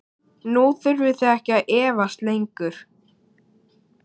Nú þurfið þið ekki að efast lengur.